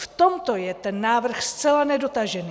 V tomto je ten návrh zcela nedotažený.